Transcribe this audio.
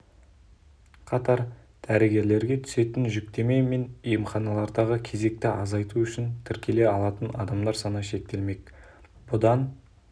қатар дәрігерлерге түсетін жүктеме мен емханалардағы кезекті азайту үшін тіркеле алатын адамдар саны шектелмек бұдан